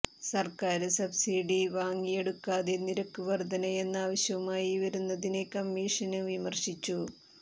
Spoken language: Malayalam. സര്ക്കാര് സബ്സിഡി വാങ്ങിയെടുക്കാതെ നിരക്ക് വര്ധനയെന്ന ആവശ്യവുമായി വരുന്നതിനെ കമ്മീഷന് വിമര്ശിച്ചു